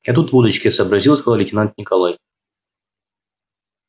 я тут водочки сообразил сказал лейтенант николай